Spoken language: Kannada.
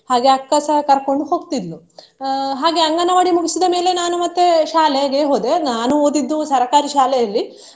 ಹಾಗೆ ಅಕ್ಕ ಸಹ ಕರ್ಕೊಂಡ್ ಹೋಗ್ತಿದ್ಲು. ಅಹ್ ಹಾಗೆ ಅಂಗನವಾಡಿ ಮುಗಿಸಿದ ಮೇಲೆ ನಾನು ಮತ್ತೆ ಶಾಲೆಗೆ ಹೋದೆ ನಾನು ಓದಿದ್ದು ಸರ್ಕಾರಿ ಶಾಲೆಯಲ್ಲಿ.